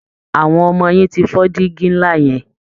Àwọn ọmọ yín ti fọ́ dígi ńlá yẹn